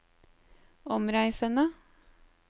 omreisende